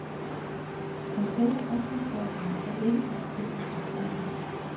Men selve opslagsværkerne er ikke så forskellige i deres indhold.